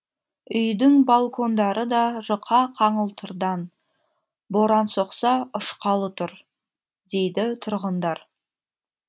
үйдің балкондары да жұқа қаңылтырдан боран соқса ұшқалы тұр дейді тұрғындар